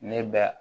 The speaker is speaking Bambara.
Ne bɛ